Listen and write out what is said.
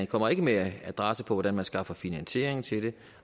kommer ikke med en adresse på hvordan der skal skaffes finansiering til det